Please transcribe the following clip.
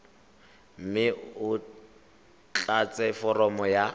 mme o tlatse foromo ya